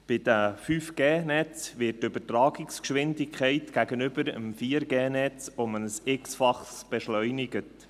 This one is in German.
Bei den 5G-Netzen wird die Übertragungsgeschwindigkeit gegenüber dem 4G-Netz um ein x-Faches beschleunigt.